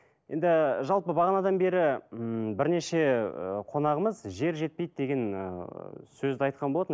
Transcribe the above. енді жалпы бағанадан бері ммм бірнеше ы қонағымыз жер жетпейді деген ыыы сөзді айтқан болатын